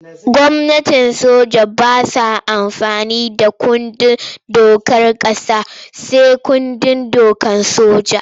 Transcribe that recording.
Gwamnatin soja ba sa amfani da kundin dokar ƙasa sai kundin dokar soja.